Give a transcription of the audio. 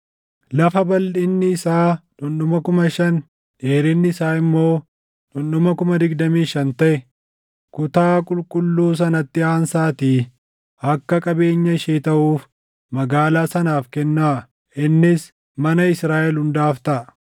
“ ‘Lafa balʼinni isaa dhundhuma 5,000, dheerinni isaa immoo dhundhuma 25,000 taʼe kutaa qulqulluu sanatti aansaatii akka qabeenya ishee taʼuuf magaalaa sanaaf kennaa; innis mana Israaʼel hundaaf taʼa.